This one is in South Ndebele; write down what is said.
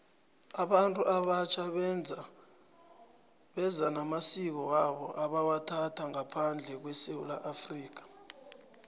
abantu abatjha beza namasiko wabo ebawathatha ngaphandle kwesewula afrika